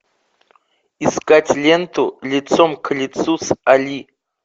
искать ленту лицом к лицу с али